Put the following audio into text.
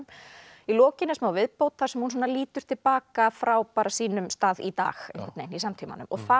í lokin er smá viðbót þar sem hún lítur til baka frá sínum stað í dag í samtímanum og þar